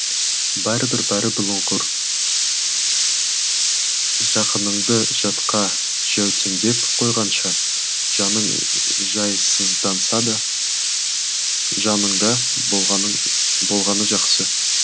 бәрібір бәрі бұлыңғыр жақыныңды жатқа жәутеңдетіп қойғанша жаның жайсызданса да жаныңда болғаны жақсы